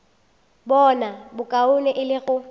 bona bokaone e le go